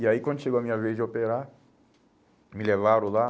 E aí quando chegou a minha vez de operar, me levaram lá.